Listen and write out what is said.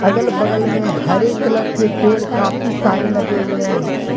अगल बगल में हरे कलर के पेड़ काफी सारे लगे हुए हैं।